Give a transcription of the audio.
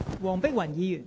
黃碧雲議員，請發言。